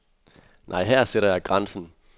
Nej, her sætter jeg grænsen.